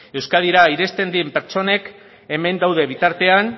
euskadira iristen diren pertsonek hemen dauden bitartean